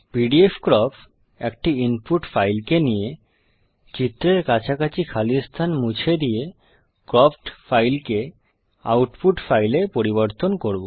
pdfcrop একটি input ফাইলকে নিয়ে চিত্রের কাছাকাছি খালি স্থান মুছে দিয়ে ক্রপ্ড ফাইলকে আউটপুট ফাইলে পরিবর্তন করব